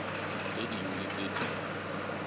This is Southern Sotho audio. tse ding le tse ding